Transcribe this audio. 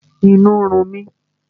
Inú ń run mi